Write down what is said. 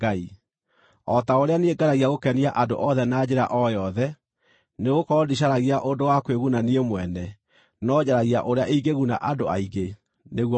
o ta ũrĩa niĩ ngeragia gũkenia andũ othe na njĩra o yothe. Nĩgũkorwo ndicaragia ũndũ wa kwĩguna niĩ mwene, no njaragia ũrĩa ingĩguna andũ aingĩ, nĩguo mahonoke.